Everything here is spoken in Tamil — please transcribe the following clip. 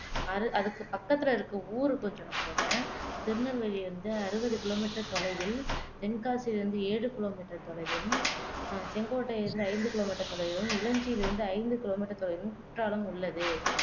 அது அதுக்கு பக்கத்துல இருக்கிற ஊரு கொஞ்சம் நான் சொல்றேன் திருநெல்வேலியிலிருந்து அறுபது கிலோமீட்டர் தொலைவில் தென்காசியிலிருந்து ஏழு கிலோமீட்டர் தொலைவிலும், ஆஹ் செங்கோட்டையிலிருந்து ஐந்து கிலோமீட்டர் தொலைவிலும், இலஞ்சியிலிருந்து ஐந்து கிலோமீட்டர் தொலைவிலும் குற்றாலம் உள்ளது